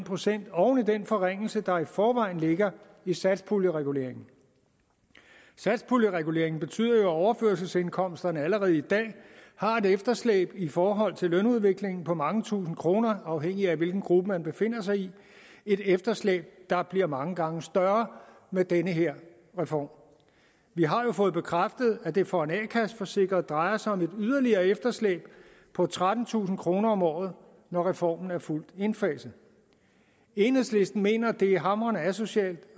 procent oven i den forringelse der i forvejen ligger i satspuljereguleringen satspuljereguleringen betyder at overførselsindkomsterne allerede i dag har et efterslæb i forhold til lønudviklingen på mange tusinde kroner afhængig af hvilken gruppe man befinder sig i et efterslæb der bliver mange gange større med den her reform vi har jo fået bekræftet at det for en a kasse forsikret drejer sig om et yderligere efterslæb på trettentusind kroner om året når reformen er fuldt indfaset enhedslisten mener at det er hamrende asocialt